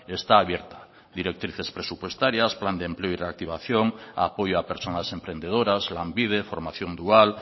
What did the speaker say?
está abierta directrices presupuestarias plan de empleo y reactivación apoyo a personas emprendedoras lanbide formación dual